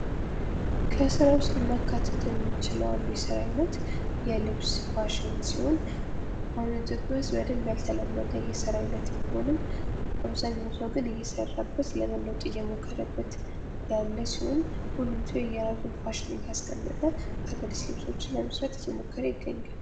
ከስራ ዉስጥ ልናካትተው የምንችለው አንኡ የስራ አይነት የልብስ ፋሽን ሲሆን አሁም ኢትዮጵያ ዉስጥ በደንብ ያልተለመደ የስራ አይነት ቢሆንም እየሰራበት ለመለወጥ እየሞከረበት ያለ ሲሆን ሁሉም ሰው የየራሱን ፋሽን እያስቀመጠ አዳዲስ ልብሶችን ለመስራት እየሞከረ ይገገኛል::